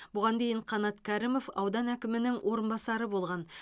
бұған дейін қанат кәрімов аудан әкімінің орынбасары болған